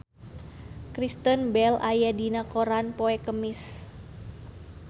Kristen Bell aya dina koran poe Kemis